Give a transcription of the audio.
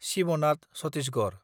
Shibnath Chhattisgarh